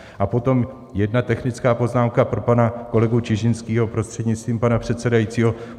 A potom jedna technická poznámka pro pana kolegu Čižinského, prostřednictvím pana předsedajícího.